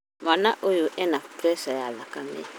Mwana ũyũ ena preca ya thakame